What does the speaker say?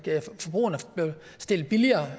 stillet billigere